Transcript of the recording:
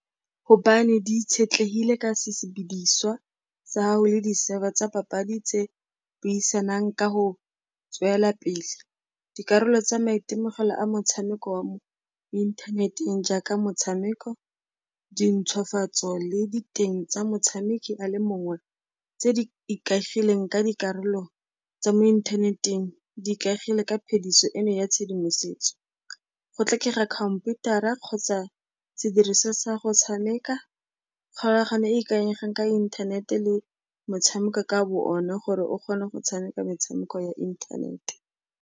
Gobane di itshetlegile ka sesebediswa sa hao le di-server tsa papadi tse buisanang ka go tswella pele. Dikarolo tsa maitemogelo a motshameko wa mo inthaneteng jaaka motshameko, dintshwafatso le diteng tsa motshameki a le mongwe tse di ikaegileng ka dikarolo tsa mo inthaneteng, di ikaegile ka phediso eno ya tshedimosetso. Go tlhokega khomputara kgotsa sediriswa sa go tshameka, kgolagano e e ikanyegang ka inthanete le motshameko ka boone gore o kgone go tshameka metshameko ya inthanete.